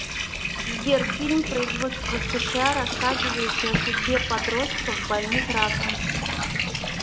сбер фильм производства сша рассказывающая о судьбе подростков больных раком